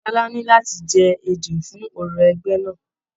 Ṣọlá ní láti jẹ ejò fún òrò ẹgbẹ náà.